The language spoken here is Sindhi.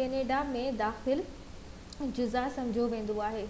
ڪئناڊا ۾ جزا سمجهيو ويندو آهي